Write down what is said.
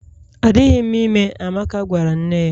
Adịghị m ime, Amaka gwara nne ya